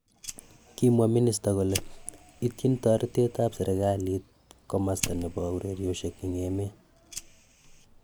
Kimwa minister kole ityin toretetap sirkalit komosta nepo ureryoshek en emeet